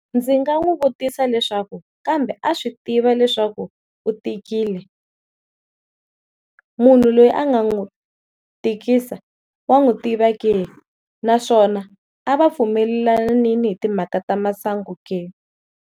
Ndzi nga wu vutisa leswaku kambe a swi tiva leswaku u tikile, munhu loyi a nga n'wi tikisa wa n'wi tiva ke, naswona a va pfumelelanile hi timhaka ta masangu ke?